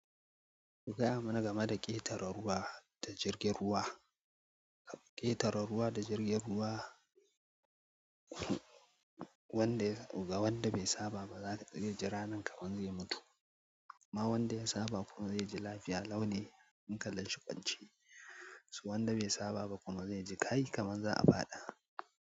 Ku gaya mana game da ƙetare ruwa da jirgin ruwa, ƙetare ruwa da jirgin ruwa wanda ga wanda bai saba ba za ta ji ra nan kamar zai mutu. Ma wanda ya saba kuma zai ji lafiya lau ne hankalin shi kwance. To wanda bai saba ba kuma zai ji kai, kaman za a faɗa.